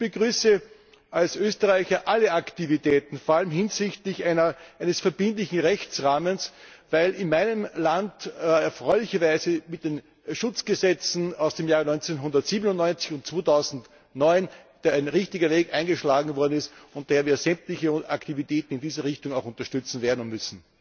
Ich begrüße als Österreicher alle Aktivitäten, vor allem hinsichtlich eines verbindlichen Rechtsrahmens, weil in meinem Land erfreulicherweise mit den Schutzgesetzen aus den Jahren 1997 und 2009 ein richtiger Weg eingeschlagen worden ist und wir daher sämtliche Aktivitäten in diese Richtung auch unterstützen werden und müssen.